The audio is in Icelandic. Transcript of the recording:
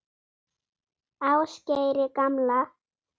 Ásgeiri gamla.